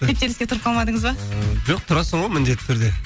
кептеліске тұрып қалмадыңыз ба ыыы жоқ тұрасың ғой міндетті түрде